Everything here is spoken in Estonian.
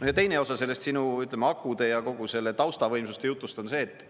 No ja teine osa sellest sinu akude ja kogu selle taustavõimsuste jutust on see, et